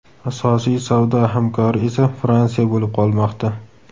Asosiy savdo hamkori esa Fransiya bo‘lib qolmoqda.